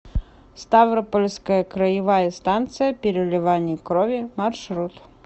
ставропольская краевая станция переливания крови маршрут